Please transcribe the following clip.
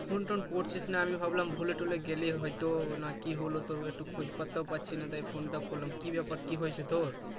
phone -টোন করছিসনা আমি ভাবলাম ভুলে-টুলে গেলি হয়তো না কি হলো তোর একটু খোঁজ-পাত্তাও পাচ্ছি না তাই phone টা করলাম কি ব্যাপার কি হয়েছে তোর